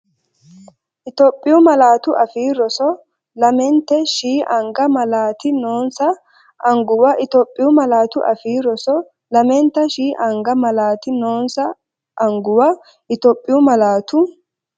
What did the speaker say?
Itophiyu Malaatu Afii Roso Lamente”sh” anga malaati noonsa anguwa Itophiyu Malaatu Afii Roso Lamente”sh” anga malaati noonsa anguwa Itophiyu Malaatu.